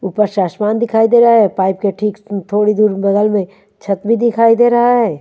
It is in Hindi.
ऊपर से आसमान दिखाई दे रहा है पाइप ठीक थोड़ी देर बगल में छत भी दिखाई दे रहा है।